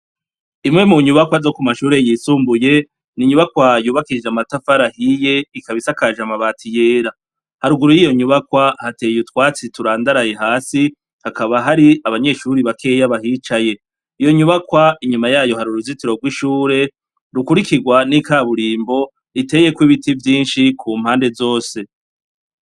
Imwe mu nyubakwa zo ku mashuri yisumbuye ni inyubakwa yubakishijwe amatafari ahiye ikaba isakaje amabati yera haruguru y' iyo nyubakwa hateye utwatsi turandaraye hasi hakaba hari abanyeshuri bakeya bahicaye iyo nyubakwa inyuma yayo hari uruzitiro rw'ishure rukurikirwa n'ikaburimbo riteyeko ibiti vyinshi ku mpande zose.